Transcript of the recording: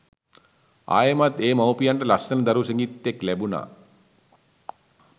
ආයෙමත් ඒ මව්පියන්ට ලස්සන දරු සිඟිත්තෙක් ලැබුනා.